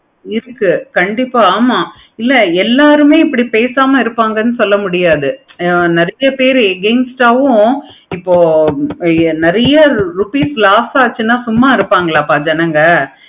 இதுக்கு கண்டிப்பா இல்ல எல்லாருமே இதுக்கு பேசாம இருப்பாங்க சொல்ல முடியாது. நெறைய பேரு against ஆஹ் உம் இப்போ நெறைய rupees loss ஆச்சுன்னா சும்மா இருப்பங்களப்ப ஜனங்க